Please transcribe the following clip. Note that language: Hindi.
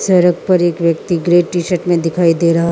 सड़क पर एक व्यक्ति ग्रे टी शर्ट मे दिखाई दे रहा --